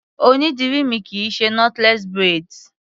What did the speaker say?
Onídìrí mi kì í ṣe knotless braids.